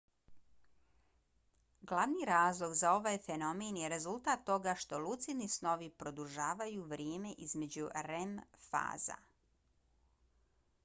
glavni razlog za ovaj fenomen je rezultat toga što lucidni snovi produžavaju vrijeme između rem faza